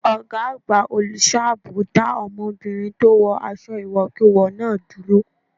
Ọgá àgbà olùṣọ́ àbò dá ọmọbìnrin tó wọ aṣọ ìwọ̀kuwọ̀ náà dúró.